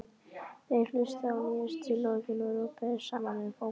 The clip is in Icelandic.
Þeir hlustuðu á nýjustu lögin og röbbuðu saman um fótbolta.